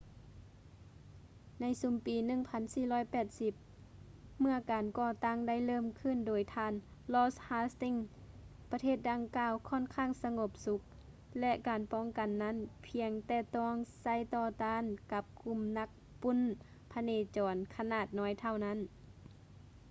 ໃນຊຸມປີ 1480 ເມຶ່ອການກໍ່ຕັ້ງໄດ້ເລີ່ມຂຶ້ນ ໂດຍທ່ານ ລອດ ຮາສ໌ຕິງສ໌ lord hastings ປະເທດດັ່ງກ່າວ ຄ້ອນຂ້າງສະຫງົບສຸກ ແລະ ການປ້ອງກັນນັ້ນ ພຽງແຕ່ຕ້ອງໃຊ້ຕໍ່ຕ້ານກັບກຸ່ມນັກປຸ້ນພະເນຈອນຂະໜາດນ້ອຍເທົ່ານັ້ນ